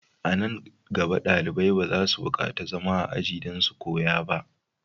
A nan gaba, dalibai ba za su bukatar zama a ajiya don su koya ba.